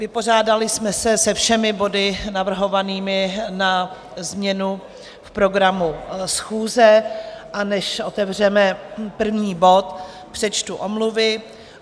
Vypořádali jsme se se všemi body navrhovanými na změnu v programu schůze, a než otevřeme první bod, přečtu omluvy.